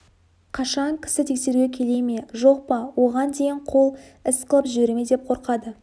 қашан кісі тексеруге келе ме жоқ па оған дейін қол іс қылып жібере ме деп қорқады